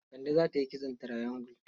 Kande za ta yi kitson triangle.